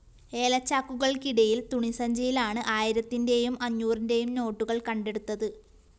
ഏലച്ചാക്കുകള്‍ക്കിടയില്‍ തുണി സഞ്ചിയിലാണ് ആയിരത്തിന്റെയും അഞ്ഞൂറിന്റെയും നോട്ടുകള്‍ കണ്ടെടുത്തത്